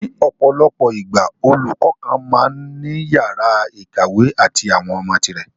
ní ọ̀pọ̀lọpọ̀ ìgbà, olùkọ́ kan máa ń ní yàrá ìkàwé àti àwọn ọmọ tirẹ̀